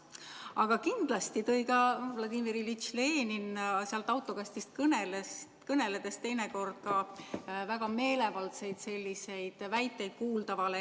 Aga kindlasti tõi Vladimir Iljitš Lenin sealt autokastist kõneledes teinekord ka väga meelevaldseid väiteid kuuldavale.